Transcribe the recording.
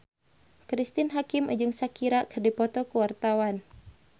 Cristine Hakim jeung Shakira keur dipoto ku wartawan